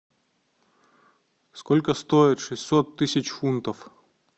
сколько стоит шестьсот тысяч фунтов